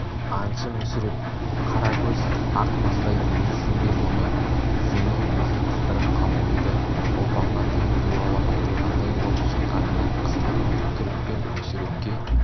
аңшы мүсіреп қара көз ақ маңдай демейсің бе мұны есеней өзі қыстырып қалып еді ұлпанға тым туралап айтылғандай болып шыққанынан қысылып түрікпен мүсірепке